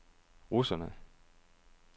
russerne